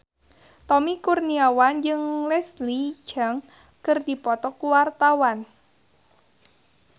Tommy Kurniawan jeung Leslie Cheung keur dipoto ku wartawan